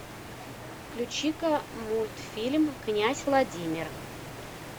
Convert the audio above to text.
включи ка мультфильм князь владимир